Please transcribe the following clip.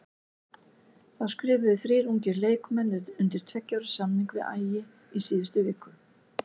Þá skrifuðu þrír ungir leikmenn undir tveggja ára samning við Ægi í síðustu viku.